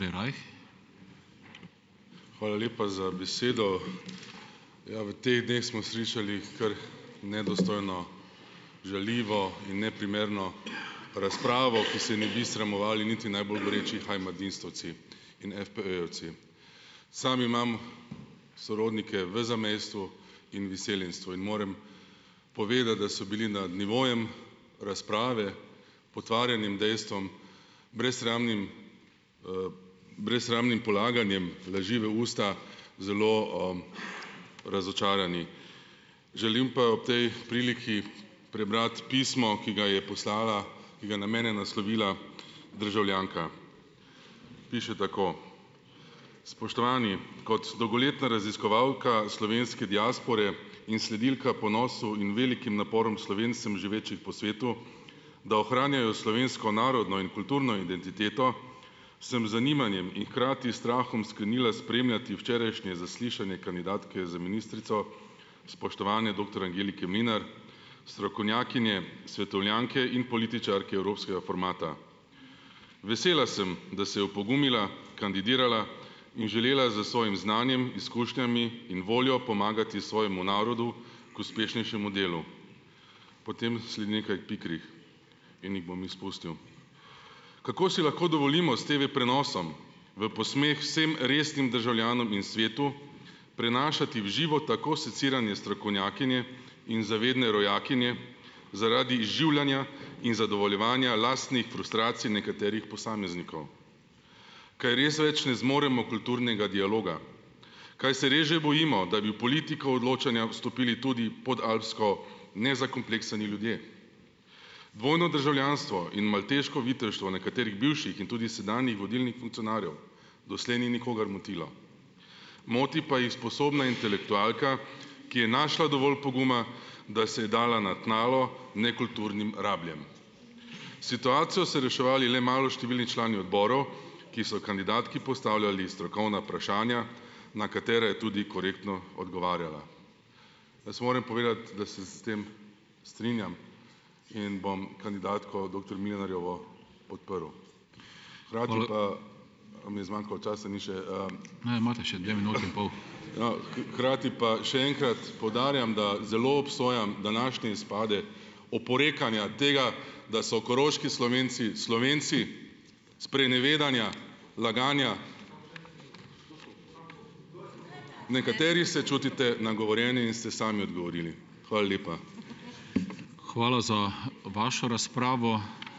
Hvala lepa za besedo. Ja, v teh dneh smo slišali kar nedostojno, žaljivo in neprimerno razpravo, ki se je ne bi sramovali niti najbolj goreči heimatdienstovci in FPE-jevci. Sam imam sorodnike v zamejstvu in v izseljenstvu in morem povedati, da so bili nad nivojem razprave, potvarjanjem dejstvom, brezsramnim brezsramnim polaganjem laži v usta, zelo, razočarani. Želim pa ob tej priliki prebrati pismo, ki ga je poslala, ki ga je na mene naslovila državljanka. Piše tako. Spoštovani. Kot dolgoletna raziskovalka slovenske diaspore in sledilka ponosu in velikim naporom Slovencem, živečih po svetu, da ohranjajo slovensko narodno in kulturno identiteto, sem z zanimanjem in hkrati s strahom sklenila spremljati včerajšnje zaslišanje kandidatke za ministrico, spoštovane doktor Angelike Mlinar, strokovnjakinje, svetovljanke in političarke evropskega formata. Vesela sem, da se je opogumila, kandidirala in želela s svojim znanjem, izkušnjami in voljo pomagati svojemu narodu k uspešnejšemu delu. Potem sledi nekaj pikrih in jih bom izpustil. Kako si lahko dovolimo s TV-prenosom, v posmeh vsem resnim državljanom in svetu, prenašati v živo tako seciranje strokovnjakinje in zavedne rojakinje zaradi izživljanja in zadovoljevanja lastnih frustracij nekaterih posameznikov? Kaj res več ne zmoremo kulturnega dialoga? Kaj se res že bojimo, da bi v politiko odločanja vstopili tudi podalpsko nezakompleksani ljudje. Dvojno državljanstvo in malteško viteštvo nekaterih bivših in tudi sedanjih vodilnih funkcionarjev. Doslej ni nikogar motilo. Moti pa jih sposobna intelektualka, ki je našla dovolj poguma, da se je dala na tnalo nekulturnim rabljem. Situacijo so reševali le maloštevilni člani odborov, ki so kandidatki postavljali strokovna vprašanja, na katere je tudi korektno odgovarjala. Jaz moram povedati, da se s tem strinjam in bom kandidatko doktor Mlinarjevo podprl. Hkrati pa, a mi je zmanjkalo časa? Ni še, ne, imate še dve minuti in pol, hkrati pa še enkrat poudarjam, da zelo obsojam današnje izpade oporekanja tega, da so koroški Slovenci Slovenci sprenevedanja, laganja. Nekateri se čutite nagovorjeni in ste sami odgovorili. Hvala lepa.